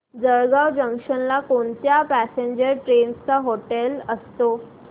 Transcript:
Jalgaon junction ला कोणत्या passenger trains चा हॉल्ट असतो